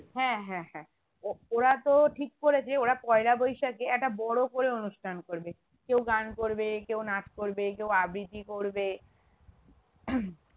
হ্যাঁ হ্যাঁ হ্যাঁ ও~ওরা তো ঠিক করেছে ওরা পয়লা বৈশাখে একটা বড়ো করে অনুষ্ঠান করবে কেউ গান করবে কেউ নাচ করবে কেউ আবৃতি করবে